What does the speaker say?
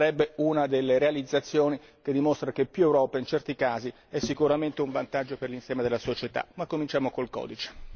Sarebbe una delle realizzazioni che dimostra che più Europa in certi casi è sicuramente un vantaggio per l'insieme della società, ma cominciamo col codice.